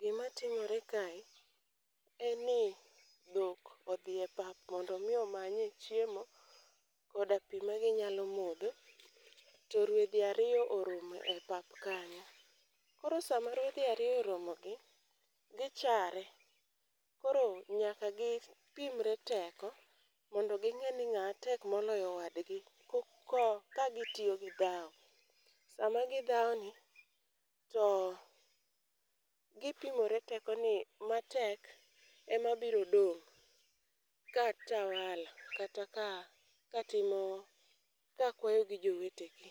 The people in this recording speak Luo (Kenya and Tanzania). Gimatimore kae, en ni dhok odhiye pap mondo omi omanye chiemo koda pi maginyalo modho, to rwedhi ariyo oromo e pap kanyo, koro sama rwedhi ariyo oromogi, gichare, koro nyaka gipimre teko mondo ging'e ni ng'a tek moloyo wadgi ka gitiyo gi dhawo. Sama gidhawoni, to gipimore teko ni matek ema biro dong' ka tawala kata ka timo, ka kwayo gi jowetegi,